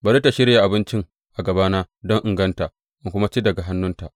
Bari tă shirya abincin a gabana don in ganta, in kuma ci daga hannunta.’